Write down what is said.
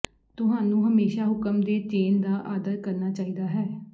ਤੁਹਾਨੂੰ ਹਮੇਸ਼ਾ ਹੁਕਮ ਦੇ ਚੇਨ ਦਾ ਆਦਰ ਕਰਨਾ ਚਾਹੀਦਾ ਹੈ